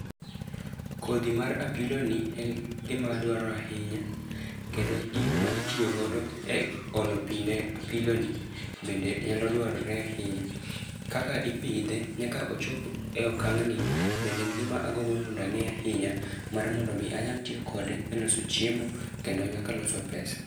Kodhi mar apilo ni en gima adwaro ahinya, kendo gigo ma itiyo godo e olo pi ne apilo ni bende nyalo dwarore ahinya. Kaka ipidhe nyaka ochop e okang' ni bende en gima agombo ni mondo ang'e ahinya. Mar mondo mi anyal tiyo kode e loso chiemo kendo nyaka loso pesa.